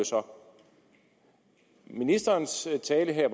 så om ministerens tale her